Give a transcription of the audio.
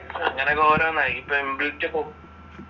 ഇങ്ങനൊക്കെ ഓരോന്നായി. ഇപ്പോൾ ഇൻബിൽറ്റ്